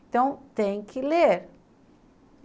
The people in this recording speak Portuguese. Então, tem que ler.